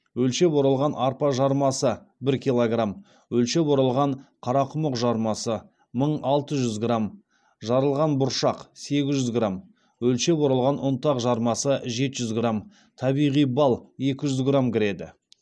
өлшеп оралған арпа жармасы бір килограмм өлшеп оралған қарақұмық жармасы мың алты жүз грамм жарылған бұршақ сегіз жүз грамм өлшеп оралған ұнтақ жармасы жеті жүз грамм табиғи бал екі жүз грамм кіреді